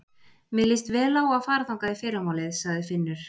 Mér líst vel á að fara þangað í fyrramálið, sagði Finnur.